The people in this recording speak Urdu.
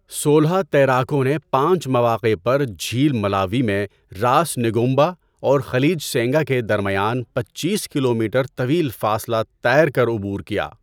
سولہ تیراکوں نے پانچ مواقع پر جھیل ملاوی میں راس نگومبا اور خلیج سینگا کے درمیان پچیس کلومیٹر طویل فاصلہ تیر کر عبور کیا۔